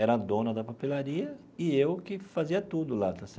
Era a dona da papelaria e eu que fazia tudo lá.